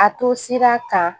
A to sira kan